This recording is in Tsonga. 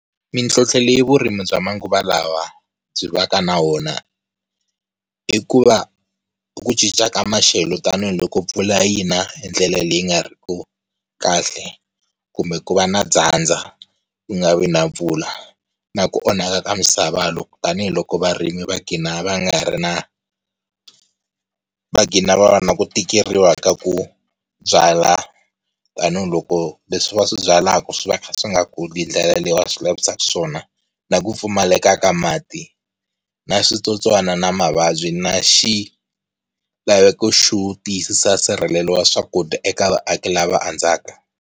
Mitlhotlho leyi vurimi bya manguva lawa byi va ka na wona, i ku va ku cinca ka maxelo tanihiloko mpfula yi na hindlela leyi nga ri ku kahle kumbe ku va na dyandza ku nga vi na mpfula, na ku onhaka ka misava loko tanihiloko varimi va gina va nga ri na, va gina va va na ku tikeriwa ka ku byala, tanihiloko leswi va swi byalaka swi va swi kha swi nga kuli hindlela leyi va swi lavisaku swona. Na ku pfumaleka ka mati na switsotswana na mavabyi na xilaveko xo tiyisisa nsirhelelo wa swakudya eka vaaki lava andzaka.